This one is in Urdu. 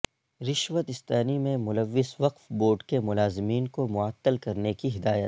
رشوت ستانی میں ملوث وقف بورڈ کے ملازمین کو معطل کرنے کی ہدایت